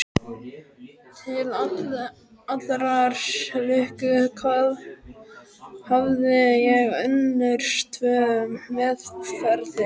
Til allrar lukku hafði ég önnur tvö meðferðis.